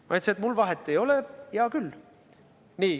Ma ütlesin, et mul vahet ei ole, hea küll.